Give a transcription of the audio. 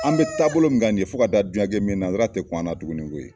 An bɛ taabolo min kan nin ye fo ka taa diɲɛ kɛ min ye nansara tɛ kun an na duguni koyi